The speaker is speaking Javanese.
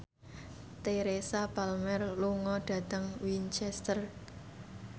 Teresa Palmer lunga dhateng Winchester